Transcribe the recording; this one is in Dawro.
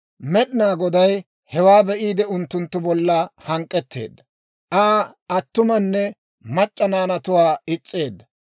Med'inaa Goday hewaa be'iide, unttunttu bolla hank'k'etteedda. Aa attumanne mac'c'a naanatuwaa is's'eedda.